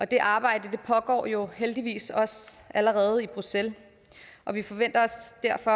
det arbejde pågår jo heldigvis også allerede i bruxelles og vi forventer os derfor